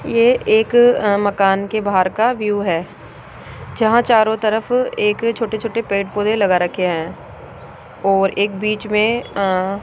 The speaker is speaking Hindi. ये एक आ मकान के बहार का व्यू है जहाँ चारो तरफ एक छोटे छोटे पेड़ पोधै लगा रखे हैं और एक बीच में आ --